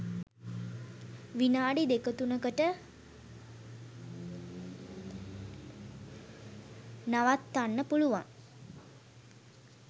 විනාඩි දෙකතුනකට නවත්තන්න පුළුවන්.